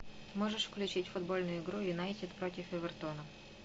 можешь включить футбольную игру юнайтед против эвертона